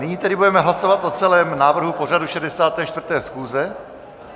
Nyní tedy budeme hlasovat o celém návrhu pořadu 64. schůze.